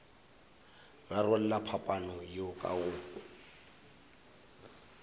rarolla phapano yeo ka go